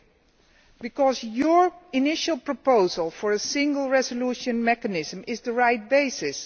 His initial proposal for a Single Resolution Mechanism is the right basis